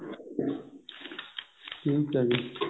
ਠੀਕ ਹੈ ਜੀ